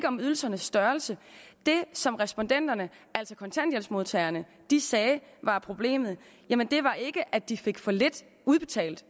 om ydelsernes størrelse det som respondenterne altså kontanthjælpsmodtagerne sagde var problemet var ikke at de fik for lidt udbetalt